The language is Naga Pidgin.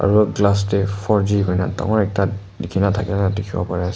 aro glass dae four g kurina tangor ekta likina bari ase.